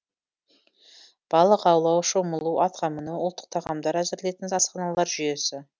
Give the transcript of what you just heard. балық аулау шомылу атқа міну ұлттық тағамдар әзірлейтін асханалар жүйесі